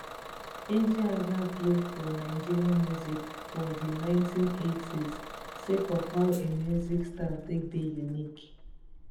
ejeagha blow for nigeria music for di 1980s sake of how im music style take dey unique